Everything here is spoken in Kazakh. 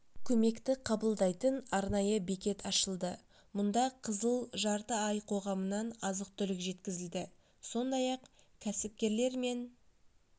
көмекті қабылдайтын арнайы бекет ашылды мұнда қызыл жарты ай қоғамынан азық-түлік жеткізілді сондай-ақ кәсіпкерлер мен